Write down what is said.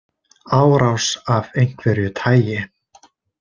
Árás af einhverju tagi.